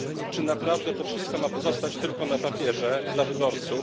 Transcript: Czy naprawdę to wszystko ma pozostać tylko na papierze dla wyborców?